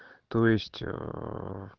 то есть ээ